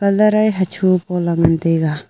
colour ae hacho pola ngan tega.